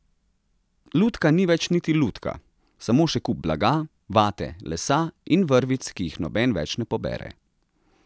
Lutka ni več niti lutka, samo še kup blaga, vate, lesa in vrvic, ki jih noben več ne pobere.